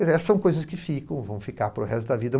são coisas que ficam, vão ficar para o resto da vida.